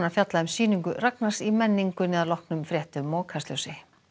fjallað um sýningu Ragnars í menningunni að loknum fréttum og Kastljósi